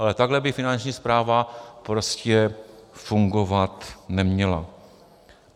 Ale takhle by Finanční správa prostě fungovat neměla.